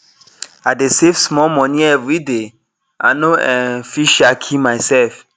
i dey save small money everyday i no um fit um kill myself